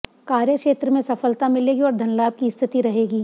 कार्यक्षेत्र में सफलता मिलेगी और धनलाभ की स्थिति रहेगी